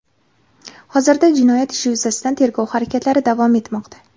Hozirda jinoyat ishi yuzasidan tergov harakatlari davom etmoqda.